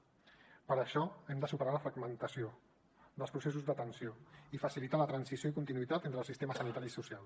per això hem de superar la fragmentació dels processos d’atenció i facilitar la transició i continuïtat entre el sistema sanitari i social